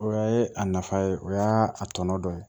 O ye a nafa ye o y'a a tɔnɔ dɔ ye